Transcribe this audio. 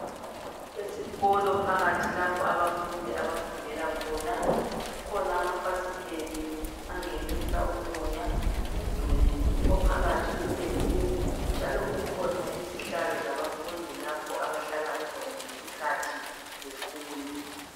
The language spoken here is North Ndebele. Esikolo phakathi lapha abafundi abafundela khona, kukhona amafasiteli angenisa umoya, umduli ophakathi upendiwe njalo kukhona izihlalo zabafundi lapha abahlala khona ngesikhathi befunda.